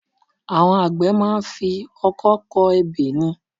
Àwọn àgbẹ̀ máa ń fi Ọkọ́ kọ ebè ni